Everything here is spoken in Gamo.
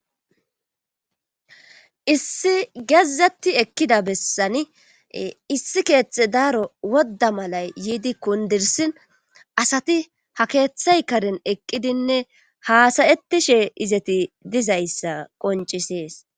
issi gezzetti ekkida bessani issi keeththe daaro wodda malay yiidi kundirsin asati ha keeththay karen eqqidinne haasayettishe izeti dizayssa qoncisees